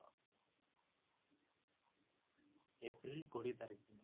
april କୋଡିଏ ତାରିଖ ଦିନ